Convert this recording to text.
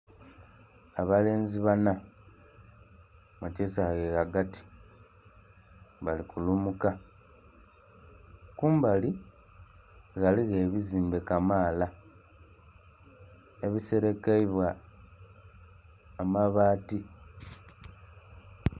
Abalenzi bana mukisawe ghagati nga bali kulumuka kumbali ghaligho ebizimbe kamaala ebiseerekebwa amabaati.